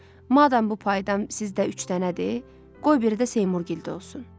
Madam bu paydan sizdə üç dənədir, qoy biri də Seymurgildə olsun.